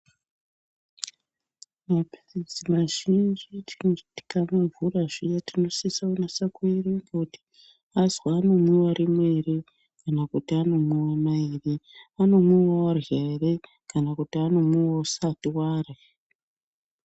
Maphirizi mazhinji tinoti tikamavhura zviya tinosise kunase kuerenga kuti azwi anomwiwa rimwe ere kana kuti anomwiwa mairi. Anomwiwa warya ere kana kuti anomwiwa usati warya.